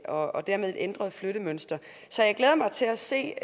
og og dermed et ændret flyttemønster så jeg glæder mig til at se